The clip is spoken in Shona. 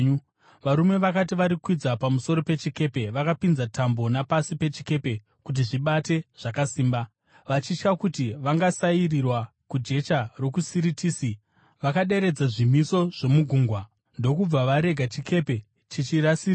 Varume vakati varikwidza pamusoro pechikepe, vakapinza tambo napasi pechikepe kuti zvibate zvakasimba. Vachitya kuti vangasairirwa kujecha rokuSiritisi, vakaderedza zvimiso zvomugungwa ndokubva varega chikepe chichisairirwa.